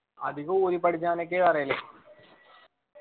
അധികം ഓതി പഠിച്ചാലൊക്കെയാ പറയല്